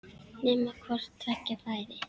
Nema hvort tveggja væri.